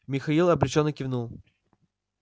михаил обречённо кивнул